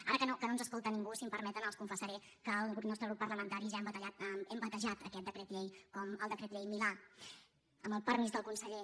ara que no ens escolta ningú si em permeten els confessaré que el nostre grup parlamentari ja hem batejat aquest decret llei com el decret llei milà amb el permís del conseller